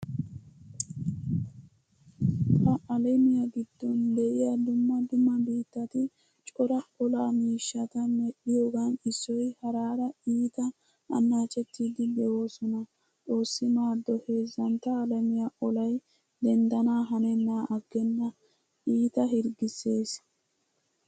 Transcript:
Ha alamiya giddon diya dumma dumma biittati cora olaa miishshata medhddhiyogan issoy haraara iita annaacettiiddi doosona. Xoossi maaddo heezantta alamiya olay denddana hanenna aggenna iita hirggissees.